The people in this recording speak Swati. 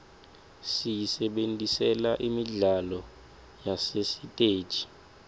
siyisebentisela imidlalo yasesiteji